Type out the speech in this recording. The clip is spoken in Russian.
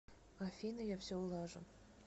афина я все улажу